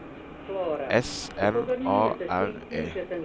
S N A R E